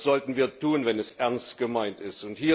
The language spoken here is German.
Das sollten wir tun, wenn es ernst gemeint ist.